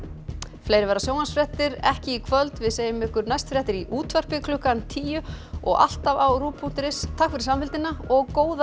fleiri verða sjónvarpsfréttirnar ekki í kvöld segjum ykkur næst fréttir í útvarpi klukkan tíu og alltaf á punktur is takk fyrir samfylgdina og góða